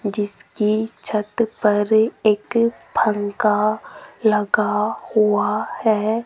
जिसकी छत पर एक पंखा लगा हुआ है।